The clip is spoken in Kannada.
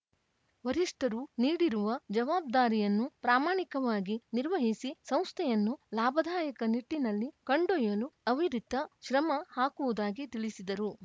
ವರಿಷ್ಠರು ನೀಡಿರುವ ಜವಾಬ್ದಾರಿಯನ್ನು ಪ್ರಾಮಾಣಿಕವಾಗಿ ನಿರ್ವಹಿಸಿ ಸಂಸ್ಥೆಯನ್ನು ಲಾಭದಾಯಕ ನಿಟ್ಟಿನಲ್ಲಿ ಕೊಂಡೊಯ್ಯಲು ಅವಿರಿತ ಶ್ರಮ ಹಾಕುವುದಾಗಿ ತಿಳಿಸಿದರು